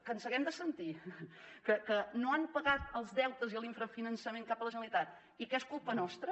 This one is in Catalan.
que ens haguem de sentir que no han pagat els deutes i l’infrafinançament cap a la generalitat i que és culpa nostra